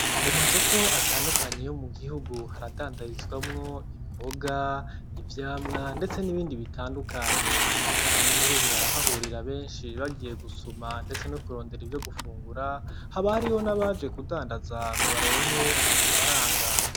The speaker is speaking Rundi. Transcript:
Mumasoko atandukanye yo mugihugu haradandarizwamwo imboga, ivyamwa ndetse n' ibindi bitandukanye abanyagihugu baraharurira benshi bagiye gusuma ndetse no kurondera ivyo gufungura haba hariyo n' abaje kudandaza ngo baronke udufaranga.